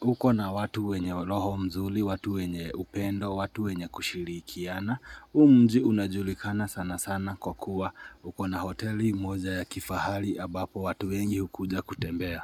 uko na watu wenye loho mzuli, watu wenye upendo, watu wenye kushirikiana. U mji unajulikana sana sana kwa kuwa huko na hoteli moja ya kifahali abapo watu wengi hukuja kutembea.